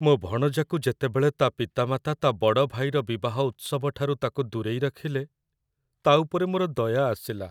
ମୋ ଭଣଜାକୁ ଯେତେବେଳେ ତା' ପିତାମାତା ତା' ବଡ଼ ଭାଇର ବିବାହ ଉତ୍ସବଠାରୁ ତାକୁ ଦୂରେଇ ରଖିଲେ, ତା' ଉପରେ ମୋର ଦୟା ଆସିଲା।